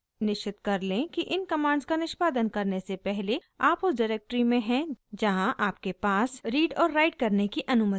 निश्चित कर लें कि इन कमांड्स का निष्पादन करने से पहले आप उस डिरेक्टरी में हैं जहाँ आपके पास रीड और राइट करने की अनुमति है